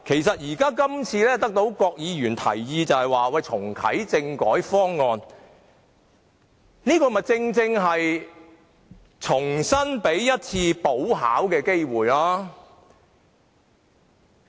所以，郭議員今次提出重啟政改方案的建議，正是給大家一次補考機會。